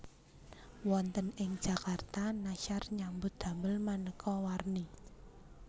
Wonten ing Jakarta Nashar nyambut damel manéka warni